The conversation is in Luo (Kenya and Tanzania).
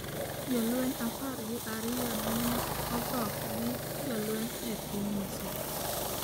Jolweny apar gi ariyo nene otho gi jolweny e piny Misri